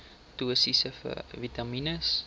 dosisse vitamien